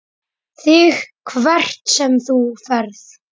ÞIG HVERT SEM ÞÚ FERÐ.